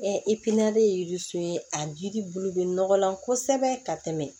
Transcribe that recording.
iki ye ye a jiri bulu bɛ nɔgɔlan kosɛbɛ ka tɛmɛ